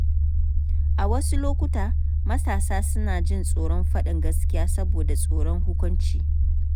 A wasu lokuta, matasa suna jin tsoron faɗin gaskiya saboda tsoron hukunci.